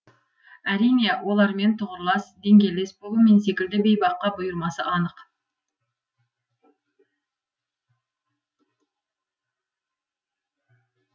әрине олармен тұғырлас деңгейлес болу мен секілді бейбаққа бұйырмасы анық